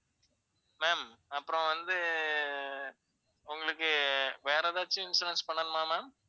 ma'am அப்பறம் வந்து உங்களுக்கு வேற ஏதாச்சும் insurance பண்ணனுமா ma'am.